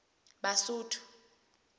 basotho